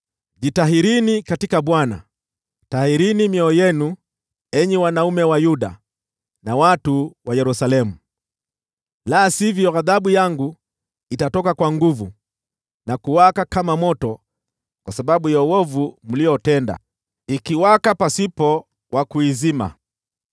Jitahirini katika Bwana , tahirini mioyo yenu, enyi wanaume wa Yuda na watu wa Yerusalemu, la sivyo ghadhabu yangu itatoka kwa nguvu na kuwaka kama moto kwa sababu ya uovu mliotenda, ikiwaka pasipo wa kuizima.